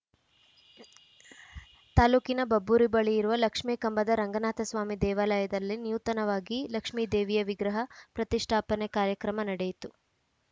ತಾಲೂಕಿನ ಬಬ್ಬೂರು ಬಳಿ ಇರುವ ಲಕ್ಷ್ಮೇಕಂಬದ ರಂಗನಾಥಸ್ವಾಮಿ ದೇವಾಲಯದಲ್ಲಿ ನೂತನವಾಗಿ ಲಕ್ಷ್ಮೇದೇವಿಯ ವಿಗ್ರಹ ಪ್ರತಿಷ್ಠಾಪನೆ ಕಾರ್ಯಕ್ರಮ ನಡೆಯಿತು